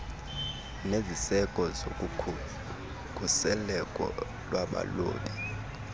neziseko zokukhuseleko lwabalobi